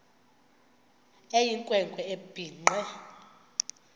eyinkwe nkwe ebhinqe